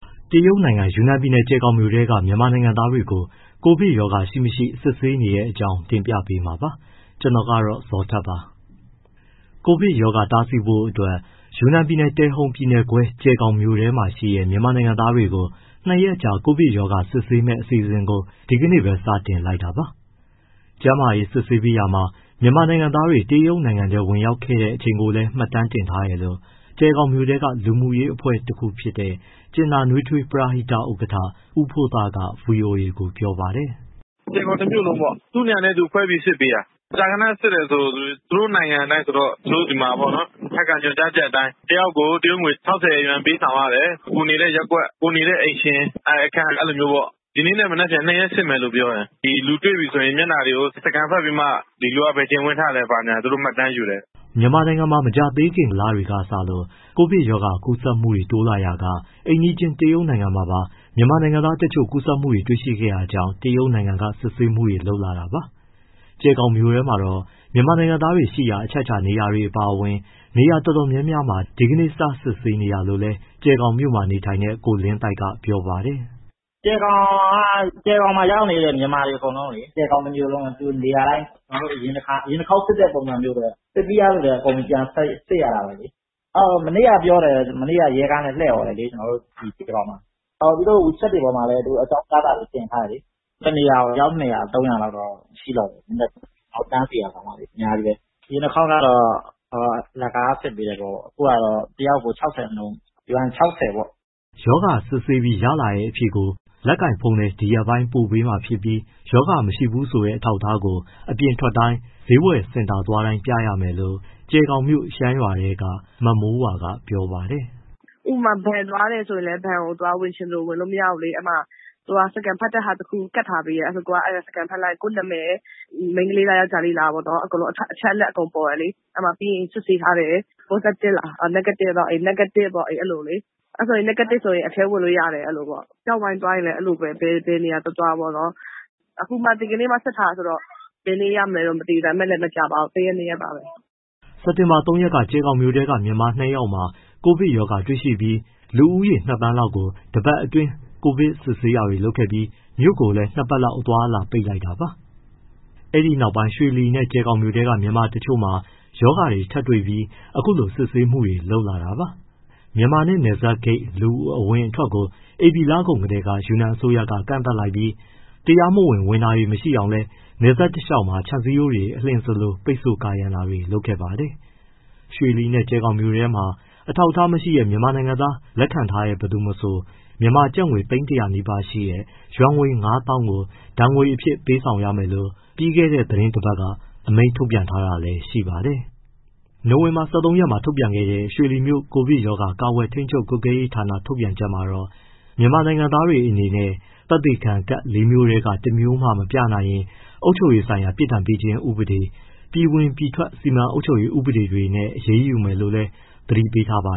တရုတ်နိုင်ငံ ယူနန်ပြည်နယ်၊ ကြယ်ဂေါင်မြို့ထဲက မြန်မာနိုင်ငံသားတွေကို ကိုဗစ်ရောဂါ ရှိမရှိ စတင်စစ်ဆေးနေတဲ့အကြောင်းကို ဗွီအိုအေမြန်မာပိုင်းသတင်းထောက် ကိုဇော်ထက်က တင်ပြပေးပါမယ်။ ကိုဗစ်ရောဂါ တားဆီးဖို့အတွက် ယူနန်ပြည်နယ်၊ တယ်ဟုတ်ပြည်နယ်ခွဲ ကြယ်ဂေါင်မြို့မှာရှိတဲ့ မြန်မာနိုင်ငံသားတွေကို ၂ ရက်ကြာ ကိုဗစ်ရောဂါ စစ်ဆေးမယ့် အစီအစဉ်ကို ဒီကနေ့ပဲ စတင်လိုက်တာပါ။ ကျန်းမာရေး စစ်ဆေးပေးရာမှာ မြန်မာနိုင်ငံသားတွေ တရုတ်နိုင်ငံထဲ ဝင်ရောက်ခဲ့တဲ့ အချိန်ကိုလည်း မှတ်တမ်းတင်ထားတယ်လို့ ကြယ်ဂေါင်မြို့က လူမှုရေးအဖွဲ့တခုဖြစ်တဲ့ ကြင်နာနွေးထွေးပရဟိတ ဥက္ကဋ္ဌ ဦးဖိုးသားက ဗွီအိုအေကို ပြောပါတယ်။ “ကြယ်ဂေါင်တမြို့လုံးပေါ့ သူ့နေရာနဲ့သူ ခွဲပြီးစစ်ပေးတာ၊ မကြာခဏ စစ်တယ်ဆိုတာ သူ့နိုင်ငံအတိုင်းဆိုတော့ သူတို့ အထက်က ညွှန်ကြားချက်အတိုင်း တယောက်ကို တရုတ်ယွမ်ငွေ ၆၀ ပေးဆောင်ရတယ်၊ ကိုယ်နေတဲ့ ရပ်ကွက်၊ ကိုယ်နေတဲ့အိမ်ရှင်၊ အခန်း အဲဒီလိုမျိုးပေါ့။ ဒီနေ့နဲ့ မနက်ဖြန် ၂ ရက်စစ်မယ် ပြောတယ်၊ လူတွေ့တယ်ဆိုရင် မျက်နှာတွေ scan ဖတ်ပြီးမှ ဒီလူက ဘယ်အချိန်ဝင်ထားလဲ သူတို့မှတ်တမ်းယူတယ်။” မြန်မာနိုင်ငံမှာ မကြာသေးခင်က လတွေကစလို့ ကိုဗစ်ကပ်ရောဂါ ကူးစက်မှုတွေ တိုးလာရာက အိမ်နီးချင်း တရုတ်နိုင်ငံမှာပါ မြန်မာနိုင်ငံသားတချို့ ကူးစက်မှုတွေ တွေ့ရှိခဲ့တာကြောင့် တရုတ်နိုင်ငံက စစ်ဆေးမှုတွေ လုပ်လာတာပါ။ ကြယ်ဂေါင်မြို့မှာတော့ မြန်မာနိုင်ငံသားတွေရှိရာ အချက်အခြာနေရာတွေ အပါအဝင် နေရာတော်တော်များများမှာ ဒီနေ့ကစ စစ်ဆေးနေတာလို့လည်း ကြယ်ဂေါင်မြို့မှာ နေထိုင်နေတဲ့ ကိုလင်းသိုက်က ပြောပါတယ်။ “ကြယ်ဂေါင်မှာရောက်နေတဲ့ မြန်မာတွေ အကုန်လုံးလေ၊ ကြယ်ဂေါင်တမြို့လုံး နေရာတိုင်း အရင်တခေါက်စစ်တဲ့ ပုံစံမျိုးပဲ၊ စစ်ပြီးသားသူတိုင်း အကုန်ပြန်စစ်ရတာပဲ။ မနေ့က (ကြို)ပြောတယ် ရဲကားနဲ့ လှည့်အော်တယ် ကြယ်ဂေါင်မှာ။ သူတို့ wechat တွေပေါ်မှာလည်း အကြောင်းကြားစာတွေ တင်ထားတယ်လေ။ တနေရာကို အယောက် ၂၀၀၊ ၃၀၀ လောက်တော့ ရှိလောက်မယ် တန်းစီတာ အများကြီးပဲ။ အရင်တခေါက်ကတော့ အလကား စစ်ပေးတယ်ပေါ့၊ အခုကတော့ တယောက်ကို ၆၀ နှုန်း ယွမ် ၆၀ (ကျပ်တသောင်းကျော်ကျော်) ပေါ့။” ရောဂါစစ်ဆေးပြီး ရတဲ့အဖြေကို လက်ကိုင်ဖုန်းထဲ ဒီရက်ပိုင်းပို့ပေးမှာဖြစ်ပြီး ရောဂါမရှိဘူးဆိုတဲ့ အထောက်အထားကို အပြင်ထွက်တိုင်း၊ ဈေးစင်တာ သွားတိုင်း ပြရမယ်လို့ ကြယ်ဂေါင်မြို့ ရှမ်းရွာထဲက မမိုးဝါက ပြောပါတယ်။ “ဥပမာ ဘဏ်သွားတယ်ဆိုရင်လည်း ဘဏ်ကို ဝင်လို့မရဘူးလေ အဲဒီမှာ scan ဖတ်တဲ့ဟာတခု ကပ်ထားပေးတယ်။ scan ဖတ်လိုက်မှ ကိုယ့်နာမည် မိန်းကလေးလား၊ ယောကျ်ားလေးလားပေါ့။ အချက်အလက် အကုန်ပေါ်တယ်လေ။ ပြီးရင် စစ်ဆေးထားတဲ့ positive လား negative လား၊ negative ဆိုရင် အထဲဝင်လို့ရတယ်။ ကျောက်ဝိုင်းသွားရင်လည်း အဲဒီလိုပဲ ဘယ်နေရာသွားသွားပေါ့။ ဒီကနေ့မှ စစ်ထားတာဆိုတော့ ဘယ်နေ့ရမလဲတော့ မသိဘူး။ ဒါပေမဲ့ မကြာပါဘူး တရက် နှစ်ရက်ပါပဲ။” စက်တင်ဘာ ၃ ရက်က ကြယ်ဂေါင်ထဲက မြန်မာနှစ်ယောက်မှာ ကိုဗစ်ရောဂါတွေ့ရှိပြီး လူဦးရေ ၂,၀၀၀,၀၀၀ လောက်ကို တပတ်အတွင်း ကိုဗစ်စစ်ဆေးတာတွေ လုပ်ခဲ့ပြီး မြို့ကိုလည်း နှစ်ပတ်လောက် အသွားအလာတွေ ပိတ်လိုက်တာပါ။ အဲဒီနောက်ပိုင်း ရွှေလီနဲ့ ကြယ်ဂေါင်ထဲက မြန်မာတချို့မှာ ရောဂါထပ်တွေ့ပြီး အခုလို စစ်ဆေးမှုတွေ ထပ်လုပ်လာတာပါ။ မြန်မာနဲ့နယ်စပ်ဂိတ် လူအဝင်အထွက်ကို ဧပြီလကုန်ကတည်းက ယူနန်အစိုးရက ကန့်သတ်လိုက်ပြီး တရားမဝင် ဝင်တာမရှိအောင်လည်း နယ်စပ်တလျှောက်မှာ ခြံစည်းရိုးတွေ အလျင်စလို ပိတ်ဆို့ကာရံတာတွေ လုပ်ခဲ့ပါတယ်။ ရွှေလီနဲ့ ကြယ်ဂေါင်မြို့ထဲမှာ အထောက်အထားမရှိတဲ့ မြန်မာနိုင်ငံသားကို လက်ခံထားတဲ့ ဘယ်သူမဆို မြန်မာငွေ သိန်း ၁၀၀ နီးပါးရှိတဲ့ ယွမ်ငွေ ၅၀,၀၀၀ ကို ဒဏ်ငွေအဖြစ် ပေးဆောင်ရမယ်လို့ ပြီးခဲ့တဲ့ သီတင်းတပတ်က အမိန့်ထုတ်ပြန်ထားတာလည်း ရှိပါတယ်။ နိုဝင်ဘာ ၁၃ ရက်မှာ ထုတ်ပြန်ခဲ့တဲ့ ရွှေလီမြို့ ကိုဗစ်ရောဂါကာကွယ်၊ ထိန်းချုပ်၊ ကွပ်ကဲရေးဌာန ထုတ်ပြန်ချက်မှာတော့ မြန်မာနိုင်ငံသားတွေအနေနဲ့ သက်သေခံကဒ် လေးမျိုးထဲက တမျိုးမှ မပြနိုင်ရင် အုပ်ချုပ်ရေးဆိုင်ရာ ပြစ်ဒဏ်ပေးခြင်းဥပဒေ၊ ပြည်ဝင်ပြည်ထွက်စီမံအုပ်ချုပ်ရေးဥပဒေတွေနဲ့ အရေးယူမယ်လို့လည်း သတိပေးထားပါ